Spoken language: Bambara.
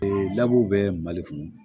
dabu bɛ mali kɔnɔ